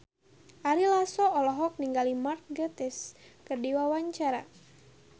Ari Lasso olohok ningali Mark Gatiss keur diwawancara